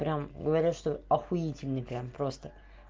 прямо говорят что ахуительный прямо просто